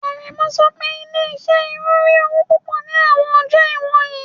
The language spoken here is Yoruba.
Aremu ń sọ pé ilé-iṣẹ́ irun ń rí owó púpọ̀ ní àwọn ọjọ́ wọ̀nyí.